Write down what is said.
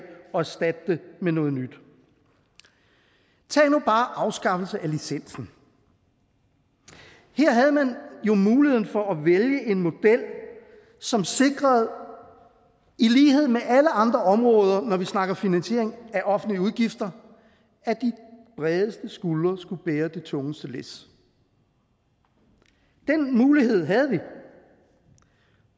og erstatte dem med noget nyt tag nu bare afskaffelsen af licensen her havde man jo muligheden for at vælge en model som sikrede i lighed med alle andre områder når vi snakker finansiering af offentlige udgifter at de bredeste skuldre skulle bære det tungeste læs den mulighed havde vi